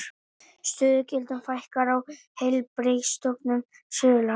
Stöðugildum fækkar á Heilbrigðisstofnun Suðurlands